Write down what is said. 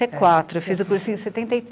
e quatro. Fiz o cursinho em